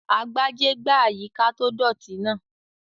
Agbájé gbá àyíká tó dọ̀ọ̀tì náà